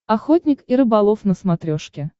охотник и рыболов на смотрешке